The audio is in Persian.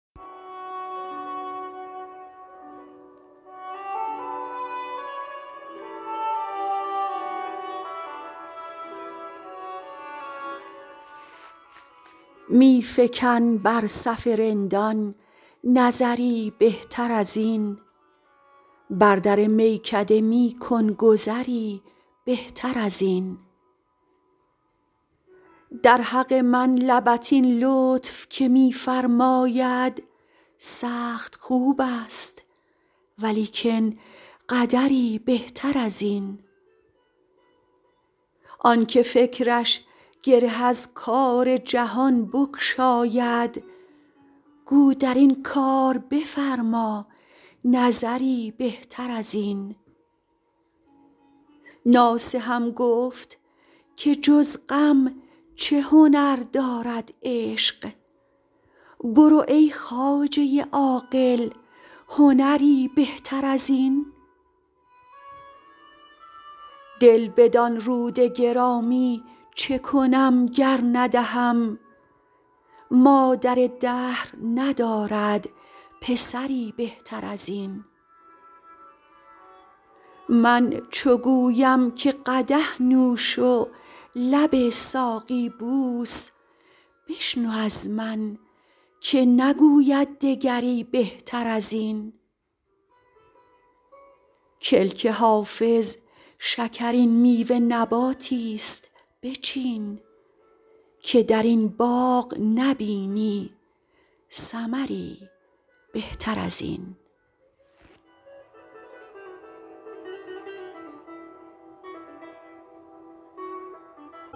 می فکن بر صف رندان نظری بهتر از این بر در میکده می کن گذری بهتر از این در حق من لبت این لطف که می فرماید سخت خوب است ولیکن قدری بهتر از این آن که فکرش گره از کار جهان بگشاید گو در این کار بفرما نظری بهتر از این ناصحم گفت که جز غم چه هنر دارد عشق برو ای خواجه عاقل هنری بهتر از این دل بدان رود گرامی چه کنم گر ندهم مادر دهر ندارد پسری بهتر از این من چو گویم که قدح نوش و لب ساقی بوس بشنو از من که نگوید دگری بهتر از این کلک حافظ شکرین میوه نباتی ست بچین که در این باغ نبینی ثمری بهتر از این